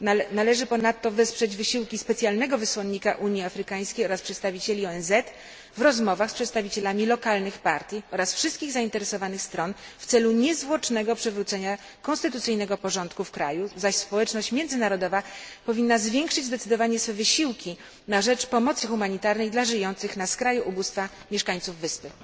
Należy ponadto wesprzeć wysiłki specjalnego wysłannika Unii Afrykańskiej oraz przedstawicieli ONZ w rozmowach z przedstawicielami lokalnych partii oraz wszystkich zainteresowanych stron w celu niezwłocznego przywrócenia konstytucyjnego porządku w kraju, zaś społeczność międzynarodowa powinna zwiększyć zdecydowanie swoje wysiłki na rzecz pomocy humanitarnej dla żyjących na skraju ubóstwa mieszkańców wyspy.